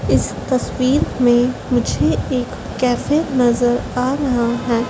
इस तस्वीर में मुझे एक कैफ़े नजर आ रहा हैं।